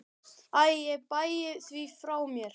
Æ ég bægi því frá mér.